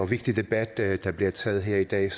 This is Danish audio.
vigtig debat der der bliver taget her i dag